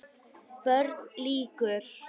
BÖRN LÝKUR